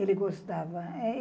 Ele gostava.